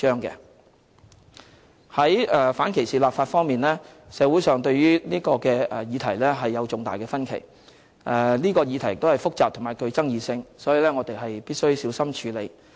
在反歧視立法方面，社會上對於這個議題有重大的分歧，有關議題亦是複雜及具爭議性，我們必須小心處理。